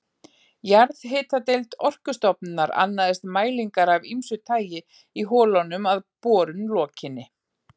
Jarðhitadeild Orkustofnunar annaðist mælingar af ýmsu tagi í holunum að borun lokinni.